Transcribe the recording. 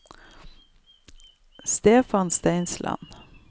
Stefan Steinsland